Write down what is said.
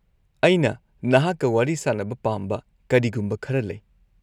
-ꯑꯩꯅ ꯅꯍꯥꯛꯀ ꯋꯥꯔꯤ ꯁꯥꯅꯕ ꯄꯥꯝꯕ ꯀꯔꯤꯒꯨꯝꯕ ꯈꯔ ꯂꯩ꯫